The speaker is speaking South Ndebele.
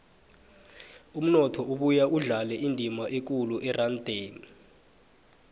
umnotho ubuya udlale indima ekulu erandeni